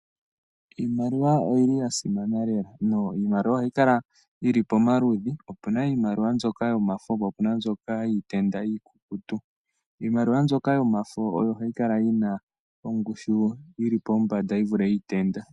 Iimaliwa oyi li ya simana lela na iimaliwa ohayi kala yili pomaludhi. Opuna iimaliwa mbyoka yomafo po opuna mbyoka yiitenda iikukutu. Iimaliwa mbyoka yomafo oyo hayi kala yi na ongushu yi li pombanda, yi vule yiitenda.